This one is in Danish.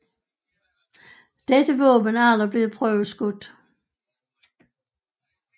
Dette våben er aldrig blevet prøveskudt